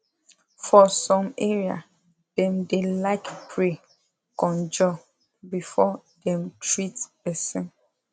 for some area dem da like pray conjur before dem treat person